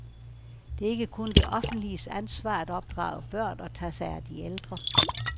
Det er ikke kun det offentliges ansvar at opdrage børn og tage sig af de ældre.